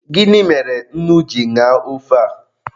Gịnị mere nnu ji naa ofe a?